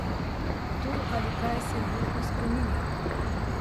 Kdo ali kaj se nenehno spreminja?